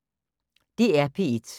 DR P1